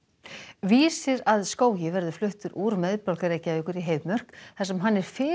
vísir að skógi verður fluttur úr miðborg Reykavíkur í Heiðmörk þar sem hann er fyrir